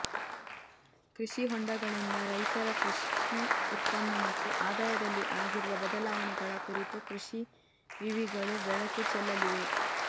ಕೃಷಿ ಹೊಂಡಗಳಿಂದ ರೈತರ ಕೃಷಿ ಉತ್ಪನ್ನ ಮತ್ತುಆದಾಯದಲ್ಲಿಆಗಿರುವ ಬದಲಾವಣೆಗಳ ಕುರಿತು ಕೃಷಿ ವಿವಿಗಳು ಬೆಳಕು ಚೆಲ್ಲಲಿವೆ